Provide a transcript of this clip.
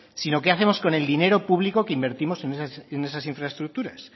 sino qué hacemos con el dinero público que invertimos en estas infraestructuras